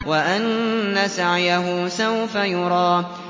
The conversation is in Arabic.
وَأَنَّ سَعْيَهُ سَوْفَ يُرَىٰ